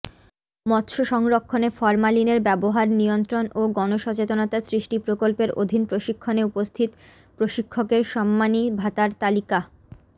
মৎস্য সংরক্ষনে ফরমালিনের ব্যবহার নিয়ন্ত্রন ও গণসচেতনতা সৃষ্টি প্রকল্পের অধীণপ্রশিক্ষনে উপস্থিত প্রশিক্ষকের সম্মানী ভাতার তালিকাঃ